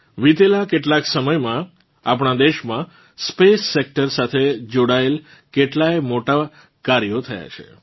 વીતેલાં કેટલાંક સમયમાં આપણાં દેશમાં સ્પેસ સેક્ટર સાથે જોડાયેલ કેટલાંય મોટાંમોટાં કાર્યો થયાં છે